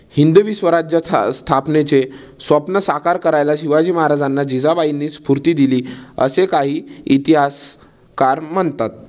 हिंदवी स्वराज्य स्था स्थापनेचे स्वप्न साकार करायला शिवाजी महाराजांना जिजाबाईंनी स्फूर्ती दिली. असे काही इतिहासकार म्हणतात.